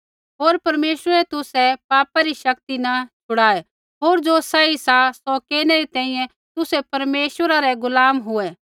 होर परमेश्वरै तुसै पापा री शक्ति न छड़ाऐ होर ज़ो सही सा सौ केरनै री तैंईंयैं तुसै परमेश्वरा रै गुलाम हुऐ